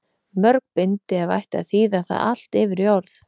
Mörg bindi ef ætti að þýða það allt yfir í orð.